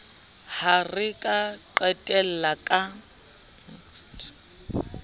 ha re ka qhella ka